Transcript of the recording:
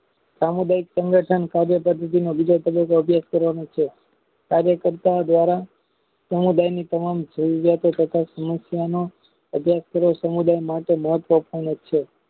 સામુદાયિક સંગઠન કાર્ય પદ્ધતિ ને વિધાનન બીજા સતજહેં અભ્યાસ કરવાનો છે કાર્ય કરતા દ્વારા સમુદાયની તમામ જેવું સમસ્યાના અભયાસ કરો સમુદાય માટે મહત્વ પૂર્ણ છે